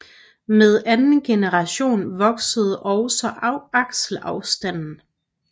Med anden generation voksede også akselafstanden